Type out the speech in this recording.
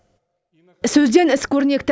сөзден іс көрнекті